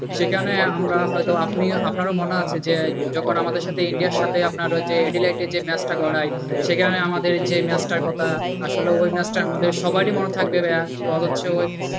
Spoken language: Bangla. সেখানে আমরা হয়তো আপনি আপনার মনে আছে যে যখন আমাদের সাথে ইন্ডিয়ার সাথে আপনারও যে match টা ইংল্যান্ডে করায়, সেখানে আমাদের যেই match টার কথা আসলে ওই match টা আমাদের সবারই মনে থাকবে ভাইয়া। বরঞ্চ,